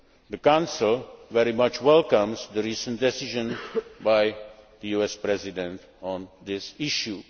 The Council very much welcomes the recent decision by the US President on this